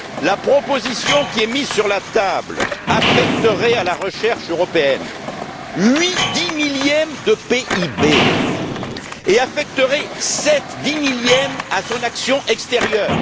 La proposition qui est mise sur la table affecterait à la recherche européenne huit dix millièmes du PIB et affecterait sept dix millièmes à son action extérieure.